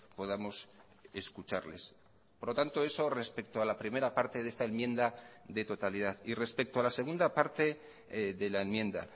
podamos escucharles por lo tanto eso respecto a la primera parte de esta enmienda de totalidad y respecto a la segunda parte de la enmienda